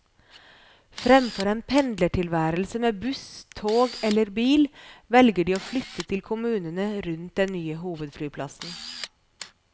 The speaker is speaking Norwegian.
Fremfor en pendlertilværelse med buss, tog eller bil, velger de å flytte til kommunene rundt den nye hovedflyplassen.